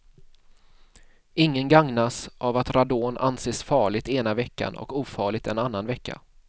Ingen gagnas av att radon anses farligt ena veckan och ofarligt en annan vecka.